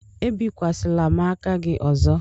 Ebikwasịla m aka gị ọzọ!